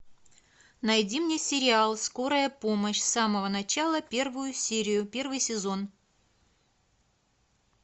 найди мне сериал скорая помощь с самого начала первую серию первый сезон